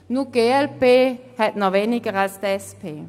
Nur die glp ist noch weniger vertreten als die SP.